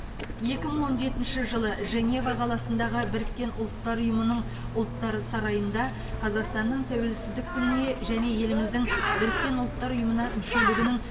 екі мың он жетінші жылы женева қаласындағы біріккен ұлттар ұйымының ұлттар сарайында қазақстанның тәуелсіздік күніне және еліміздің біріккен ұлттар ұйымына мүшелігінің